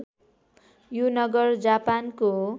यो नगर जापानको